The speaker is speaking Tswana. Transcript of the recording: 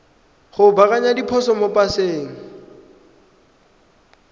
go baakanya diphoso mo paseng